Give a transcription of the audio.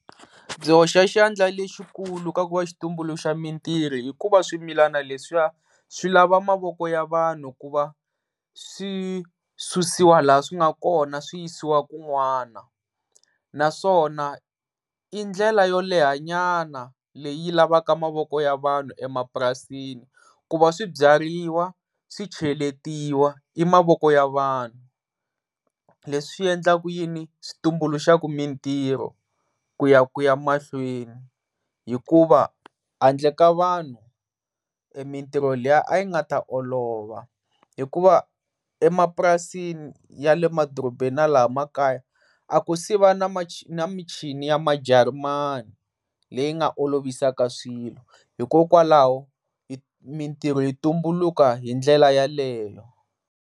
Byi hoxa xandla lexikulu ka ku va xi tumbuluxa mintirho hikuva swimilana leswiya swi lava mavoko ya vanhu kuva swi susiwa laha swi nga kona swi yisiwa kun'wana. Naswona i ndlela yoleha nyana leyi lavaka mavoko ya vanhu emapurasini ku va swibyariwa swicheletiwa i mavoko ya vanhu leswi endlaku yini switumbuluxaka mintirho ku ya ku ya mahlweni hikuva handle ka vanhu mintirho liya a yi nga ta olova hikuva emapurasini ya le madorobeni na laha makaya a ku siva ni michini yamajarimani leyi nga olovisaka swilo hikokwalaho mintrho yi tumbuluka hi ndlela ya leyo.